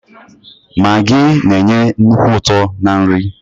Magii na-enye nnukwu uto na nri.